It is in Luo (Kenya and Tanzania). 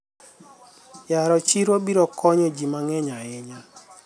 yaro siro biro konyo ji mang'eny ahinya